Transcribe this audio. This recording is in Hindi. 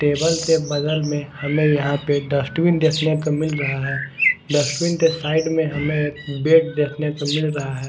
टेबल के बगल में हमें यहां पे डस्टबिन देखने का मिल रहा है। डस्टबिन के साइड में हमें एक बेड देखने को मिल रहा है।